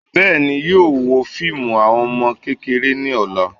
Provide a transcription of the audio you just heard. Bẹ́ẹ̀ni, yóò wo fíìmù àwọn ọmọ kékeré ní ọ̀la